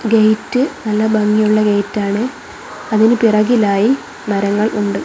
Gate നല്ല ഭംഗിയുള്ള gate ആണ് അതിന് പിറകിലായി മരങ്ങൾ ഉണ്ട്.